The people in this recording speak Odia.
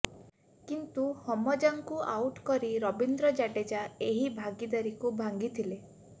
କିନ୍ତୁ ହମଜାଙ୍କୁ ଆଉଟ୍ କରି ରବୀନ୍ଦ୍ର ଜାଡେଜା ଏହି ଭାଗୀଦାରୀକୁ ଭାଙ୍ଗିଥିଲେ